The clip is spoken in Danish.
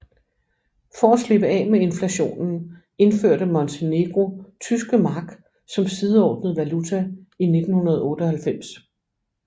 For at slippe af med inflationen indførte Montenegro tyske mark som sideordnet valuta i 1998